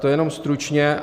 To jenom stručně.